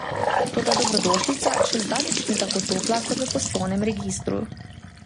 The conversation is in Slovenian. Toda dobrodošlica še zdaleč ni tako topla kot v poslovnem registru.